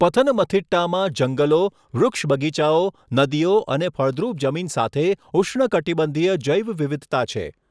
પથનમથિટ્ટામાં જંગલો, વૃક્ષબગીચાઓ, નદીઓ અને ફળદ્રુપ જમીન સાથે ઉષ્ણકટિબંધીય જૈવવિવિધતા છે.